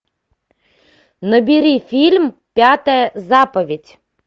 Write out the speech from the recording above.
набери фильм пятая заповедь